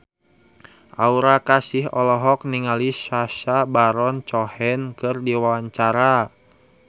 Aura Kasih olohok ningali Sacha Baron Cohen keur diwawancara